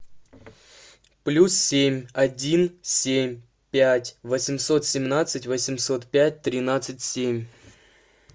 плюс семь один семь пять восемьсот семнадцать восемьсот пять тринадцать семь